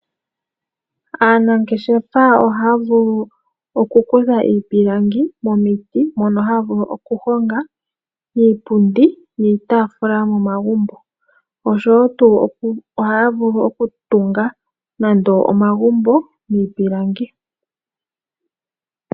Aanangeshefaa ohaa vulu oku kutha iipilangi momiti, mono haa vulu oku honga iipundi niitaafula yomomagumbo osho wo tuu ohaa vulu okutunga nando omagumbo miipilangi.